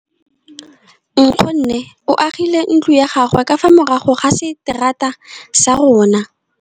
Nkgonne o agile ntlo ya gagwe ka fa morago ga seterata sa rona.